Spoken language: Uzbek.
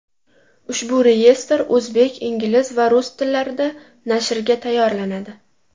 Ushbu reyestr o‘zbek, ingliz va rus tillarida nashrga tayyorlanadi.